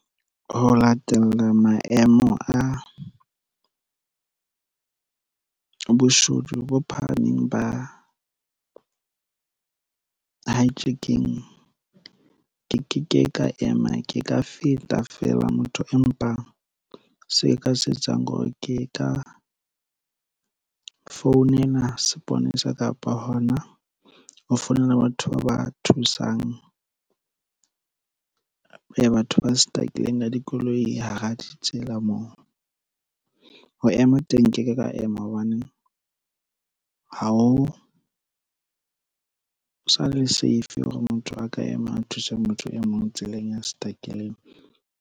Ho latella maemo a boshodu bo phahameng ba hijacking ke ke ke ka ema ke ka feta fela motho empa se nka se etsang hore ke ka founela seponesa kapa hona ho founela batho ba ba thusang. Batho ba stucki-leng ka dikoloi hara ditsela moo ho ema teng nkeke ka ema hobaneng ha o sale safe hore motho a ka ema a thuse motho e mong tseleng ya stuck-ileng.